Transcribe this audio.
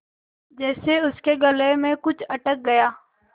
जैसे उसके गले में कुछ अटक गया